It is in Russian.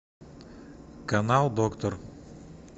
канал доктор